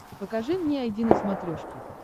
покажи мне айди на смотрешке